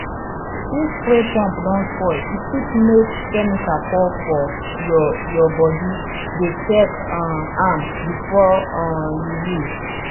if spray pump don spoil e fit make chemical pour for your your bodydey check um am before um you use